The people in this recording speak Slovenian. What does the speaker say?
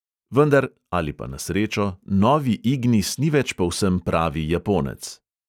Vendar (ali pa na srečo) novi ignis ni več povsem pravi japonec.